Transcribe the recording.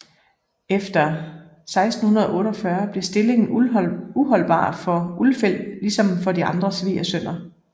Efter 1648 blev stillingen uholdbar for Ulfeldt ligesom for de andre svigersønner